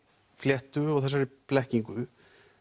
fléttu og þessari blekkingu